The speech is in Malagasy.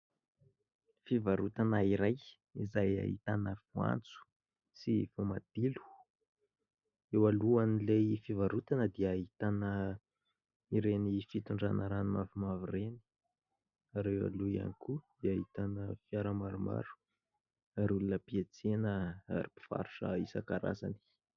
Fivarotana iray izay ahitana voanjo sy voamadilo. Eo alohan'ilay fivarotana dia ahitana ireny fitondrana rano mavomavo ireny, ary eo aloha ihany koa dia ahitana fiara maromaro ary olona mpietsena ary mpivarotra isan-karazany.